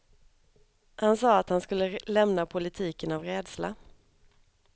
Han sade att han skulle lämna politiken av rädsla.